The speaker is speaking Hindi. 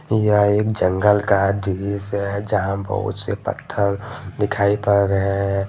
यह एक जंगल का दृश्य है जहां बहुत से पत्थल दिखाई पड़ रहे है।